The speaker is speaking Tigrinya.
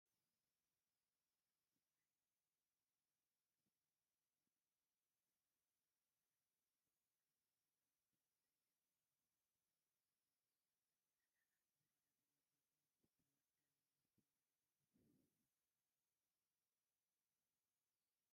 ኣብዚ ሰማያዊ ዩኒፎርም ዝተኸድኑ ብርክት ዝበሉ ፖሊሳት ብንጹር መስመር ክጓዓዙ ይረኣዩ። ብዙሓት መከላኸሊ ናውትን ናይ ገጽ መሸፈኒን ተኸዲኖም ኣለዉ። ኣብ ማእኸል ከተማ ዝረአ ብመጠኑ ዝተወደበን ዝተዋደደን ምንቅስቓስ እዩ።